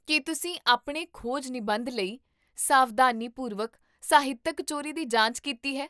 ਕੀ ਤੁਸੀਂ ਆਪਣੇ ਖੋਜ ਨਿਬੰਧ ਲਈ ਸਾਵਧਾਨੀਪੂਰਵਕ ਸਾਹਿਤਕ ਚੋਰੀ ਦੀ ਜਾਂਚ ਕੀਤੀ ਹੈ?